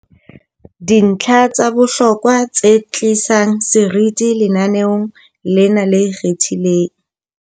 Dintlha tsa bohlokwa tse tlisang seriti lenaneong lena le ikgethileng